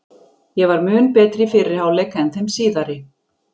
Ég var mun betri í fyrri hálfleik en þeim síðari.